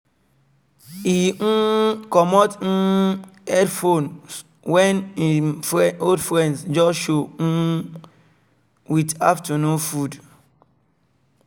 e um comot him headphones when him old friend just um just um show with afternoon food